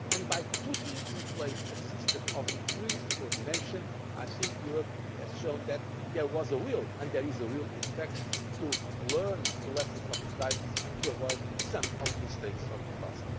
area. By putting in place a system of increased coordination, I think Europe has shown that there was a will and there is in fact a will to learn the lessons from the crisis and to avoid some of the mistakes of the